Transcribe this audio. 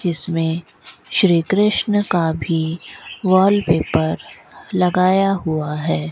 इसमें श्री कृष्ण का भी वॉलपेपर लगाया हुआ है।